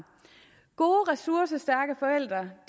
gode ressourcestærke forældre